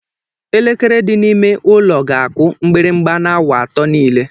Elekere dị n'ime ụlọ ga-akụ mgbịrịgba n'awa atọ niile.